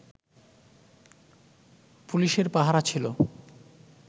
পুলিশের পাহারা ছিলো